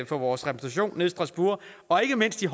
for vores repræsentation nede i strasbourg og ikke mindst til